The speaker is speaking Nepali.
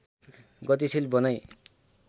गतिशिल बनाई